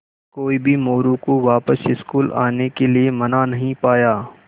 कोई भी मोरू को वापस स्कूल आने के लिये मना नहीं पाया